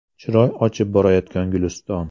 Chiroy ochib borayotgan Guliston.